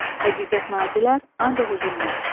Həqiqət nazilər ancaq üzülməz.